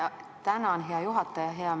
Tänan, hea juhataja!